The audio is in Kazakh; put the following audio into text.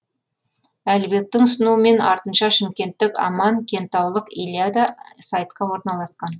әлібектің ұсынуымен артынша шымкенттік аман кентаулық илья да сайтқа орналасқан